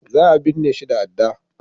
Za a binne shi da adda